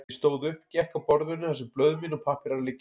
Ég stóð upp, gekk að borðinu þar sem blöð mín og pappírar liggja.